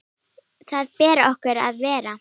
Þar ber okkur að vera!